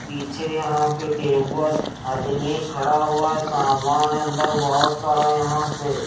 पीछे यहां पे टेबल आदमी खड़ा हुआ है सामान अंदर बहुत सारा यहां पे--